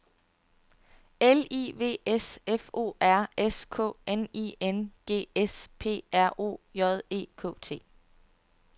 L I V S F O R S K N I N G S P R O J E K T